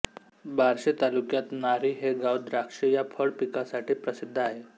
बार्शी तालुक्यात नारी हे गाव द्राक्ष या फळ पिकासाठी प्रसिद्ध आहे